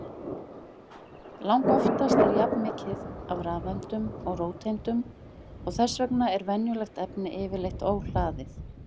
Langoftast er jafnmikið af rafeindum og róteindum og þess vegna er venjulegt efni yfirleitt óhlaðið.